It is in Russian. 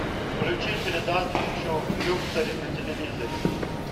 включи передачу люксори на телевизоре